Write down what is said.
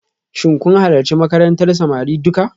Shin kun halarci makarantar samari duka?